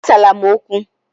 Asala m okwu!